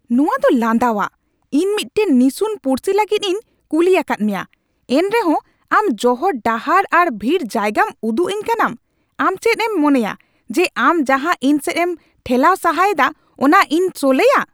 ᱱᱚᱶᱟ ᱫᱚ ᱞᱟᱸᱫᱟᱣᱟᱜ ᱾ ᱤᱧ ᱢᱤᱫᱴᱟᱝ ᱱᱤᱥᱩᱱ ᱯᱩᱲᱥᱤ ᱞᱟᱹᱜᱤᱫ ᱤᱧ ᱠᱩᱞᱤ ᱟᱠᱟᱫ ᱢᱮᱭᱟ, ᱮᱱᱨᱮᱦᱚᱸ ᱟᱢ ᱡᱚᱦᱚᱲ ᱰᱟᱦᱟᱨ ᱟᱨ ᱵᱷᱤᱲ ᱡᱟᱭᱜᱟᱢ ᱩᱫᱩᱜ ᱟᱹᱧ ᱠᱟᱱᱟᱢ ᱾ ᱟᱢ ᱪᱮᱫ ᱮᱢ ᱢᱚᱱᱮᱭᱟ ᱡᱮ ᱟᱢ ᱡᱟᱦᱟᱸ ᱤᱧ ᱥᱮᱫ ᱮᱢ ᱴᱷᱮᱞᱟᱣ ᱥᱟᱦᱟ ᱮᱫᱟ ᱚᱱᱟ ᱤᱧ ᱥᱚᱞᱦᱮᱭᱟ ?